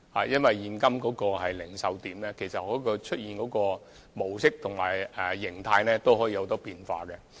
因為，現今零售點出現的模式及形態，都可以有很多變化。